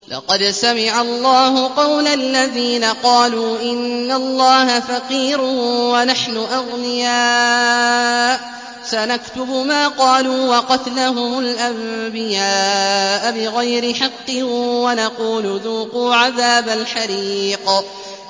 لَّقَدْ سَمِعَ اللَّهُ قَوْلَ الَّذِينَ قَالُوا إِنَّ اللَّهَ فَقِيرٌ وَنَحْنُ أَغْنِيَاءُ ۘ سَنَكْتُبُ مَا قَالُوا وَقَتْلَهُمُ الْأَنبِيَاءَ بِغَيْرِ حَقٍّ وَنَقُولُ ذُوقُوا عَذَابَ الْحَرِيقِ